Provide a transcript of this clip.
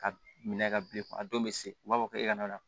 Ka minɛ ka bilen a don bɛ se u b'a fɔ k'e ka na